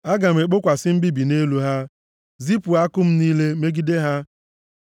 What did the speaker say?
“Aga m ekpokwasị mbibi nʼelu ha, zipụ àkụ m niile megide ha.